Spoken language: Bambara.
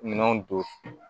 Minɛnw don